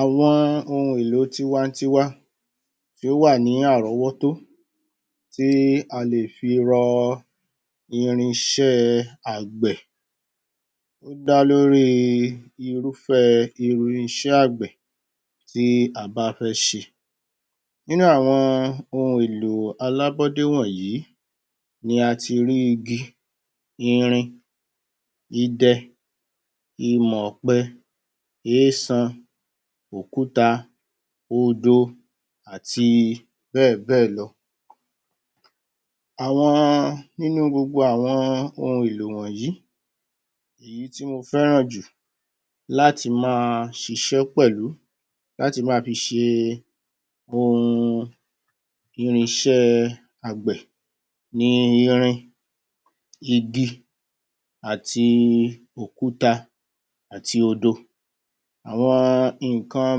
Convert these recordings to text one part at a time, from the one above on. Awọn ohun èlò tiwa - n-tiwa tí ó ó wà ní àrọ́wọ́tó tí a lè fi rọ irinṣẹ́ àgbẹ̀ ó dá lórí irúfẹ̀ irinṣẹ́ àgbẹ̀ tí á bá fẹ́ ṣe, nínú àwọn ohun èlò alábódé wọ̀nyí ni a ti rí igi, irin idẹ, ìmọ̀ ọ̀pe, eésan, òkúta, odo àti bẹ́ẹ̀ bẹ́ẹ̀ lọ, nínú gbogbo àwọn ohun èlò yìí, èyí tí mo fẹ́ràn jù láti máa ṣiṣẹ́ pẹ̀lú, láti máa fi ṣe ohun irinṣẹ́ àgbẹ̀ ni irin, igi àti òkúta àti odo, àwọn nǹkan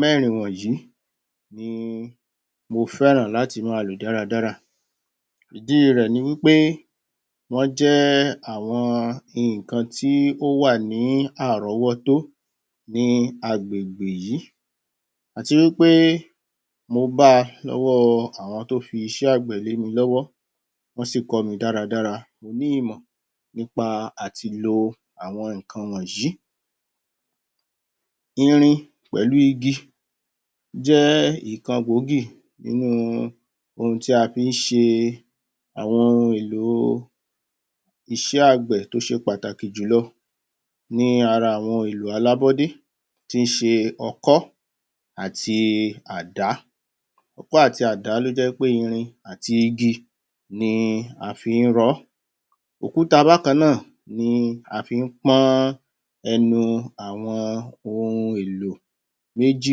mẹ́rin wọ̀nyí ni mo fẹ́ràn láti máa lò dára dára, ìdí rẹ̀ ni pé wọ́n jẹ́ àwọn nǹkan tí ó wà ní àrọ́wọ́tó ní agbègbè yì àwọn nǹkan tí ó wà ní àrọ́wọ́tó ní agbègbè yìí àti wí pé mo bá a lọ́wọ́ àwọn tí ó fi iṣẹ́ àgbẹ̀ lé mi lọ́wọ́ wọ́n sì kọ́ mi dára dára mo ní ìmọ̀ nípa láti lo àwọn nǹkan wọ̀nyí, irin pẹ̀lú igi jẹ́ nǹkan gbòógì nínú ohun tí a fi ń ṣe àwọn ohun èlò iṣẹ́ àgbẹ̀ tó ṣe pàtàkì jùlọ nínú àwọn ohun èlò alábọ́dé tíí ṣe okọ́ àti Àdá, okọ́ àti Àdá tó jẹ́ pé irin àti igi ni a fi ń rọ ọ́, òkúta bákan náà ni a fi ń pọ́n ẹnu àwọn ohun èlò méjì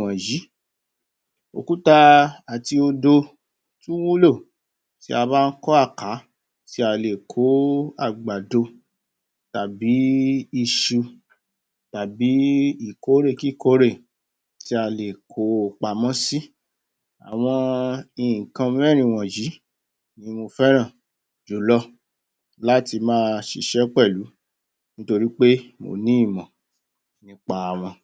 wọ̀nyí, òkúta àti odo wúlò tí a bá ń kọ́ àká, tí a lè kó àgbàdo tàbí ìkórè kíkòórè tí a lè kó o pamọ́ sí, àwọn nǹkan mẹ́rin yìí ni mo fẹ́ràn julo láti máa ṣiṣẹ́ pẹ̀lú torí pé mo ní ìmọ̀ nípa wọn